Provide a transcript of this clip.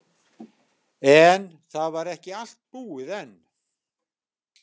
En það var ekki allt búið enn.